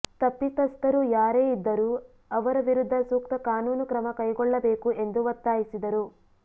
ತಪ್ಪಿತಸ್ಥರು ಯಾರೇ ಇದ್ದರೂ ಅವರ ವಿರುದ್ಧ ಸೂಕ್ತ ಕಾನೂನು ಕ್ರಮ ಕೈಗೊಳ್ಳಬೇಕು ಎಂದು ಒತ್ತಾಯಿಸಿದರು